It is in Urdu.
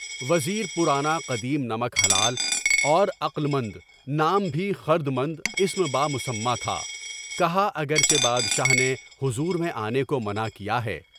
وزیر پرانا قدیم نمک حلال اور عقل مند، نام بھی خردمند، بالمسمّیٰ تھا کہا، اگرچہ بادشاہ نے حضور میں آنے کو منع کیا ہے۔